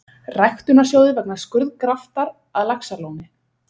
Ræktunarsjóði vegna skurðgraftar að Laxalóni.